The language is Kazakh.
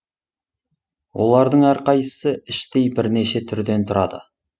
олардың әрқайсысы іштей бірнеше түрден тұрады